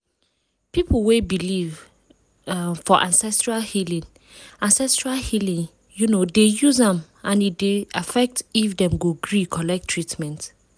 people wey believe um for ancestral healing ancestral healing um dey use am and e dey affect if dem go gree collect treatment.